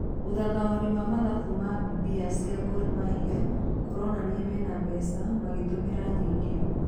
Ũthathauri wa Mathabũ ma mbia cia Gor mahia kũronania mena mbeca mangĩtũmira nyingĩ.